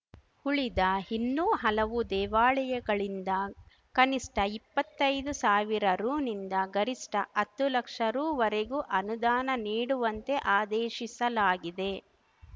ಉಳಿದ ಇನ್ನೂ ಹಲವು ದೇವಾಳಯಗಳಿಂದ ಕನಿಷ್ಠ ಇಪ್ಪತ್ತೈದು ಸಾವಿರ ರುನಿಂದ ಗರಿಷ್ಠ ಅತ್ತು ಲಕ್ಷ ರು ವರೆಗೂ ಅನುದಾನ ನೀಡುವಂತೆ ಆದೇಶಿಸಲಾಗಿದೆ